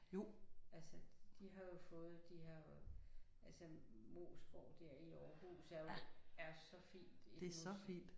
Altså de har jo fået de her altså Moesgaard der i Aarhus er jo er så fint iggås